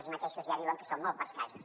ells mateixos ja diuen que són molt pocs casos